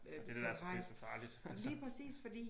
Og det er det der er så pisse farligt altså